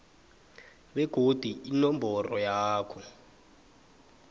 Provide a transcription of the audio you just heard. begodu inomboro yakho